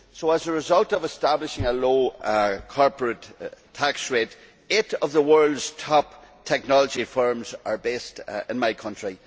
As a result of establishing a low corporate tax rate, eight of the world's top technology firms are based in my country.